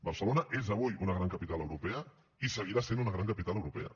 barcelona és avui una gran capital europea i seguirà sent una gran capital europea